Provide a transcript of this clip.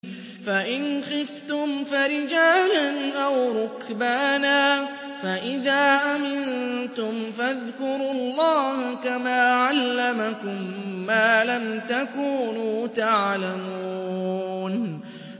فَإِنْ خِفْتُمْ فَرِجَالًا أَوْ رُكْبَانًا ۖ فَإِذَا أَمِنتُمْ فَاذْكُرُوا اللَّهَ كَمَا عَلَّمَكُم مَّا لَمْ تَكُونُوا تَعْلَمُونَ